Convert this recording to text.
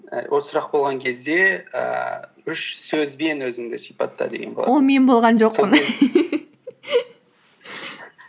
і осы сұрақ болған кезде ііі үш сөзбен өзіңді сипатта деген мен болған